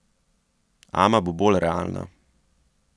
Ama bo bolj realna.